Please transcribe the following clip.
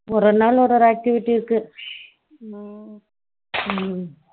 ஒவ்வொரு நாளும் ஒருரோ activity இருக்கு